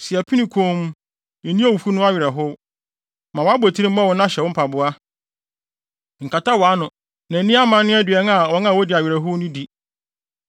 Si apini komm; nni owufo ho awerɛhow. Ma wʼabotiri mmɔ wo na hyɛ wo mpaboa; nkata wʼano na nni amanne aduan a wɔn a wodi awerɛhow no di.”